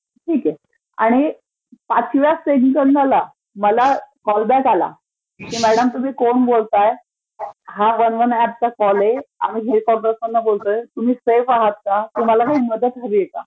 ठीक आहे. आणि पाचव्या सेकंदाला मला कॉल बॅक आला की मॅडम तुम्ही कोण बोलताय हा वन वन ऍप चा कॉल आहे, आम्ही हेडपॉर्टरवरून बोलतोय, तुम्ही सेफ आहोत का? तुम्हाला काही मदत हवीय का?